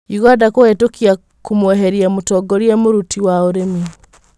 ũganda kũhetũkia kũmweherĩa mũtongorĩa mũruti wa ũrĩmi.